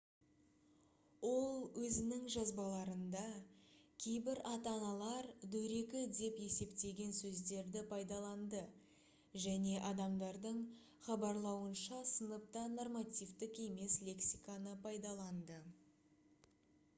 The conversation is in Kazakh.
ол өзінің жазбаларында кейбір ата-аналар дөрекі деп есептеген сөздерді пайдаланды және адамдардың хабарлауынша сыныпта нормативтік емес лексиканы пайдаланды